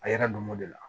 A yɛrɛ don mɔ de la